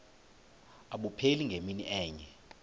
abupheli ngemini enye